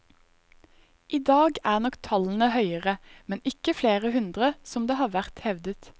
I dag er nok tallene høyere, men ikke flere hundre som det har vært hevdet.